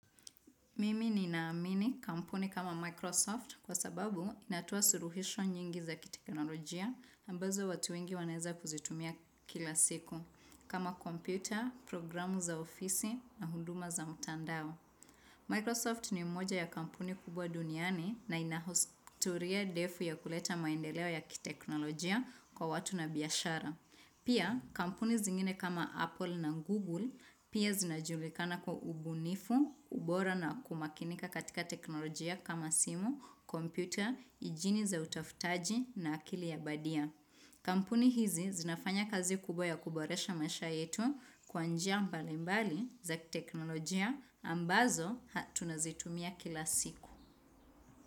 Mimi ni naamini kampuni kama Microsoft kwa sababu inatoa suluhisho nyingi za kiteknolojia ambazo watu wengi waneza kuzitumia kila siku kama kompyuta, programu za ofisi na huduma za mtandao. Microsoft ni moja ya kampuni kubwa duniani na inahistoria ndefu ya kuleta maendeleo ya kiteknolojia kwa watu na biashara. Pia kampuni zingine kama Apple na Google pia zinajulikana kwa ubunifu, ubora na kumakinika katika teknolojia kama simu, kompyuta, injini za utafutaji na akili ya badia. Kampuni hizi zinafanya kazi kubwa ya kuboresha maisha yetu kwanjia mbalimbali za teknolojia ambazo tunazitumia kila siku.